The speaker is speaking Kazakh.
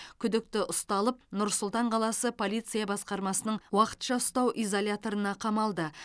күдікті ұсталып нұр сұлтан қаласы полиция басқармасының уақытша ұстау изоляторына қамалды